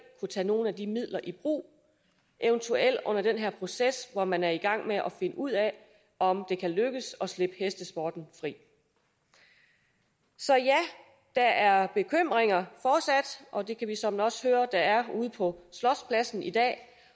kunne tage nogle af de midler i brug eventuelt under den her proces hvor man er i gang med at finde ud af om det kan lykkes at slippe hestesporten fri så ja der er bekymringer fortsat og det kan vi såmænd også høre der er ude på slotspladsen i dag